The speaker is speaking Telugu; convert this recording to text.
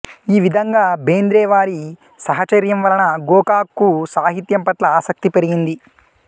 ఈ విధంగా బెంద్రే వారి సహచర్యం వలన గోకాక్ కు సాహిత్యం పట్ల ఆసక్తి పెరిగింది